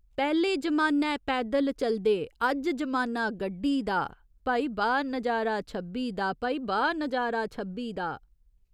पैह्‌ले जमानै पैदल चलदे, अज्ज जमाना गड्डी दा भाई बाह् नजारा छब्बी दा, भाई बाह् नजारा छब्बी दा।